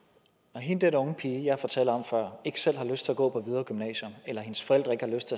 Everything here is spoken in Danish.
når den unge pige jeg fortalte om før ikke selv har lyst til at gå på hvidovre gymnasium eller hendes forældre ikke har lyst